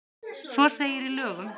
Svo segir í lögunum.